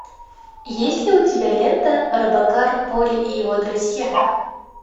есть ли у тебя лента робокар поли и его друзья